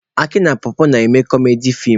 Aki na pọpọ na-eme kọmedi feem.